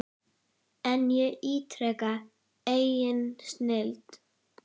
En ég ítreka, engin snilld.